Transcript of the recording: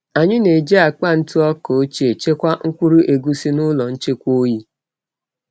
Anyị na-eji akpa ntụ ọka ochie chekwaa mkpụrụ egusi n’ụlọ nchekwa oyi.